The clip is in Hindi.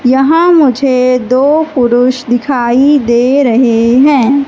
यहां मुझे दो पुरुष दिखाई दे रहे हैं।